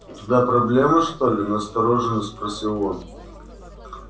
у тебя проблемы что ли настороженно спросил он